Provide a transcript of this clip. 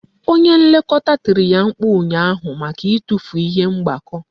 Onye Nlekọta tiri ya mkpu ụnyaahụ maka itufu ihe mgbakọ